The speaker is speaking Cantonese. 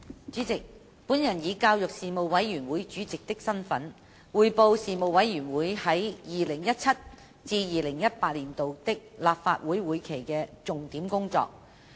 主席，我以教育事務委員會主席的身份，匯報事務委員會在 2017-2018 年度立法會會期的重點工作。